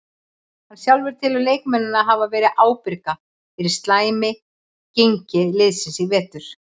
Hann sjálfur telur leikmennina hafa verið ábyrga fyrir slæmi gengi liðsins í vetur.